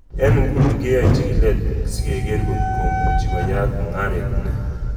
Eng nguno kiyae chigilet sikeker kotko muchi koyayak mungaret ni.